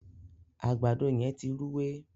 àgbàdo yén tí Rúwé.